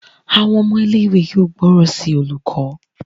Àwọn ọmọ ilé ìwé yóò gbóròn sí olùkó.